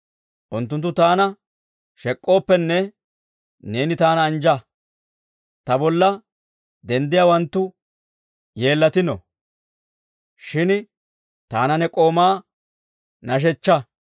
Unttunttu taana shek'k'ooppenne, neeni taana anjja! Ta bolla denddiyaawanttu yeellatino; shin taana ne k'oomaa nashshechchaa.